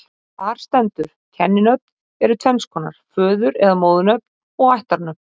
Þar stendur: Kenninöfn eru tvenns konar, föður- eða móðurnöfn og ættarnöfn